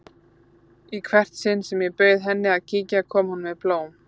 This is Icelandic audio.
Í hvert sinn sem ég bauð henni að kíkja kom hún með blóm.